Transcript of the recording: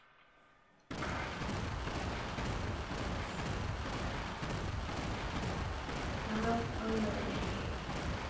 Það á maður ekki að gera.